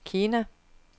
Kina